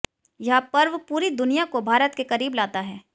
यह पर्व पूरी दुनिया को भारत के करीब लाता है